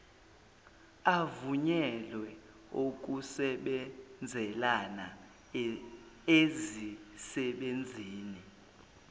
avunyelwe okusebenzelana ezisebenzini